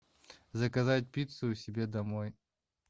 заказать пиццу себе домой